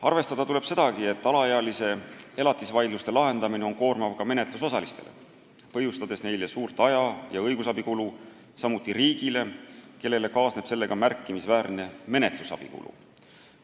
Arvestada tuleb sedagi, et alaealise lapse elatise vaidluste lahendamine on koormav ka menetlusosalistele, põhjustades neile suurt aja- ja õigusabikulu, samuti riigile, kellele kaasneb sellega märkimisväärne menetlusabikulu.